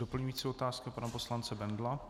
Doplňující otázka pana poslance Bendla.